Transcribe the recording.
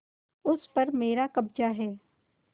उस पर मेरा कब्जा है